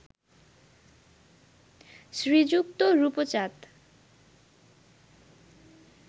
শ্রীযুক্ত রূপচাঁদ